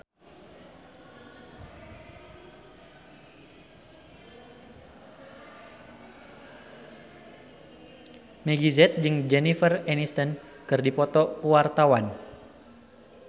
Meggie Z jeung Jennifer Aniston keur dipoto ku wartawan